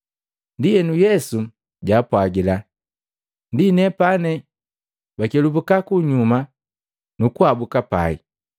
Ndienu Yesu jaapwagila, “Ndi nepane,” bakelubuka kunyuma nukuhabuka pai.